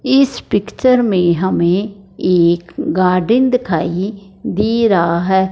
इस पिक्चर में हमें एक गार्डन दिखाइ दे रहा हैं।